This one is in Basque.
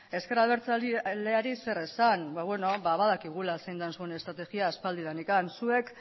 ezker abertzaleari zer esan ba badakigula zein den zuen estrategia aspaldidanik zuek